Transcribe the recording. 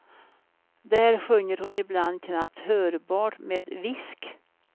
Där sjunger hon ibland knappt hörbart med visk.